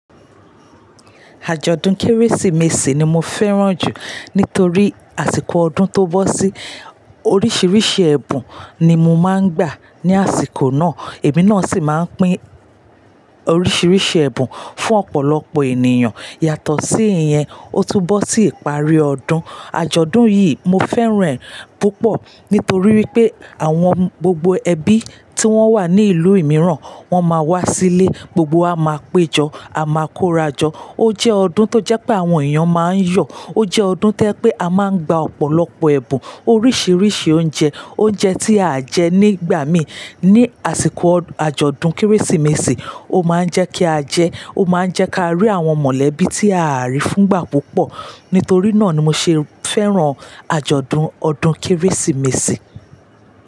Àjọ̀dún Kérésìmesì ni mo fẹ́ràn jù nítorí àsìkò ọdún tó bọ́ sí oríṣiríṣi ẹ̀bùn ni mo máa ń gbà ní àsìkò náà. Èmi náà sì máa ń pín oríṣiríṣi ẹ̀bùn fún ọ̀pọ̀lọpọ̀ ènìyàn. Yàtọ̀ sí ìyẹn, ó tún bọ́ sí ìparí ọdún. Àjọ̀dún yìí mo fẹ́ràn e púpọ̀ nítorí wípé àwọn gbogbo ẹbí tí wọ́n wà ní ìlú imìíràn, wọ́n máa wá sílé, gbogbo wa máa péjọ, a máa korájọ. Ó jẹ́ ọdún tó jẹ́ pé àwọn èèyàn máa ń yọ̀, ó jẹ́ ọdún tí o jẹ́ pé a máa ń gba ọ̀pọ̀lọpọ̀ ẹ̀bùn, oríṣiríṣi oúnjẹ, oúnjẹ tí a jẹ nígbà mi ní àsìkò àjọ̀dún Kérésìmesì, ó máa ń jẹ́ kí á jẹ́, ó máa ń jẹ́ kí á rí àwọn mọ̀lẹ́bí tí a á rí fúngbà púpọ̀. Nítorí náà ni mo ṣe fẹ́ràn àjọ̀dún ọdún Kérésìmesì.